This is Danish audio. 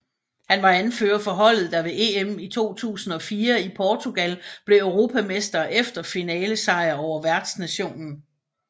Han var anfører for holdet der ved EM i 2004 i Portugal blev europamestre efter finalesejr over værtsnationen